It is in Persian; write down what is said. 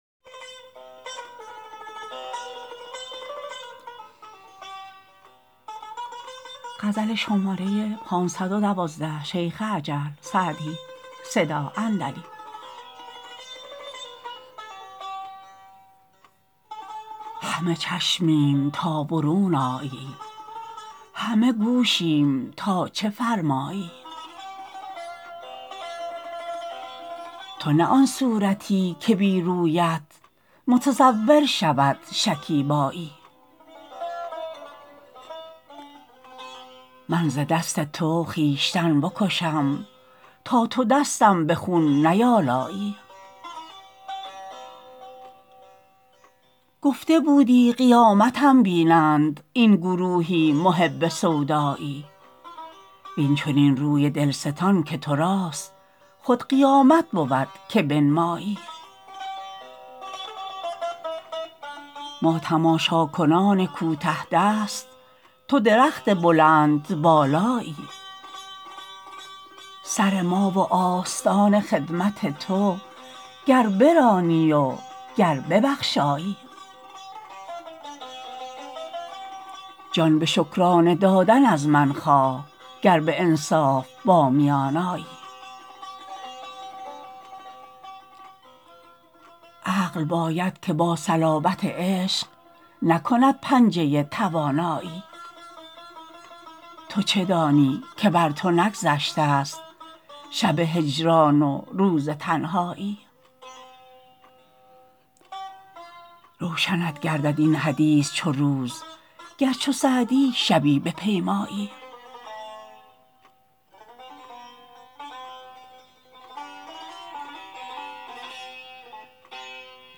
همه چشمیم تا برون آیی همه گوشیم تا چه فرمایی تو نه آن صورتی که بی رویت متصور شود شکیبایی من ز دست تو خویشتن بکشم تا تو دستم به خون نیآلایی گفته بودی قیامتم بینند این گروهی محب سودایی وین چنین روی دل ستان که تو راست خود قیامت بود که بنمایی ما تماشاکنان کوته دست تو درخت بلندبالایی سر ما و آستان خدمت تو گر برانی و گر ببخشایی جان به شکرانه دادن از من خواه گر به انصاف با میان آیی عقل باید که با صلابت عشق نکند پنجه توانایی تو چه دانی که بر تو نگذشته ست شب هجران و روز تنهایی روشنت گردد این حدیث چو روز گر چو سعدی شبی بپیمایی